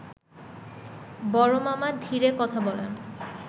বড়মামা ধীরে কথা বলেন